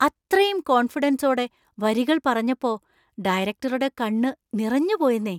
അത്രയും കോണ്‍ഫിഡന്‍സോടെ വരികൾ പറഞ്ഞപ്പോ ഡയറക്റ്ററുടെ കണ്ണു നിറഞ്ഞുപോയെന്നേ!